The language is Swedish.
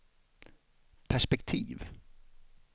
perspektiv